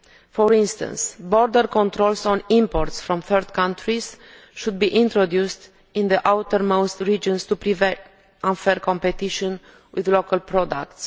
For instance, border controls on imports from third countries should be introduced in the outermost regions to prevent unfair competition from local products.